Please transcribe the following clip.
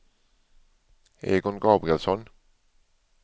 Egon Gabrielsson